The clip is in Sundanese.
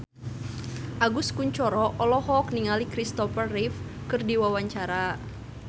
Agus Kuncoro olohok ningali Christopher Reeve keur diwawancara